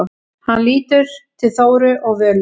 Hann lítur til Þóru og Völu.